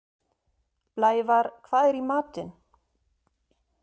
Blævar, hvað er í matinn?